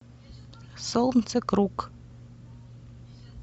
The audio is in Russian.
солнцекруг